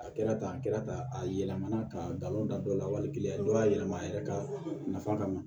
A kɛra tan a kɛra tan a yɛlɛmana k'a galon da dɔ la wali kelen dɔ y'a yɛlɛma a yɛrɛ ka nafa kama